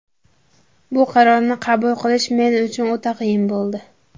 Bu qarorni qabul qilish men uchun o‘ta qiyin bo‘ldi.